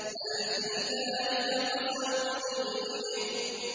هَلْ فِي ذَٰلِكَ قَسَمٌ لِّذِي حِجْرٍ